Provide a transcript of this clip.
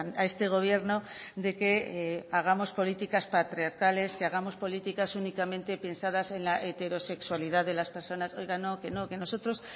a este gobierno de que hagamos políticas patriarcales y hagamos políticas únicamente pensadas en la heterosexualidad de las personas oiga no que nosotros